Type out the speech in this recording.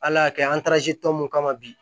Ala y'a kɛ an taarasi tɔmɔ mun kama bi